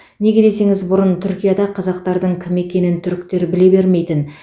неге десеңіз бұрын түркияда қазақтардың кім екенін түріктер біле бермейтін